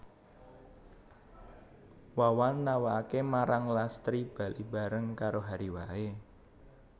Wawan nawakaké marang Lastri bali bareng karo Hary waé